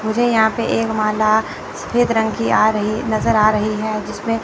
मुझे यहां पे एक माला सफेद रंग की आ रही नजर आ रही है जिसमें--